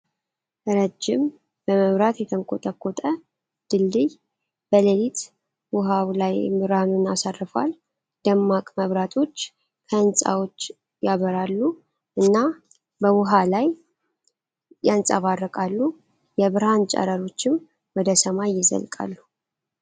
ረዥም በመብራት የተንቆጠቆጠ ድልድይ በሌሊት ውሃው ላይ ብርሃኑን አሳርፏል። ደማቅ መብራቶች ከህንፃዎች ያበራሉ እና በውሃ ላይ ያንፀባርቃሉ። የብርሃን ጨረሮችም ወደ ሰማይ ይዘልቃሉ።